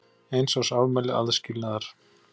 Eins árs afmæli aðskilnaðar.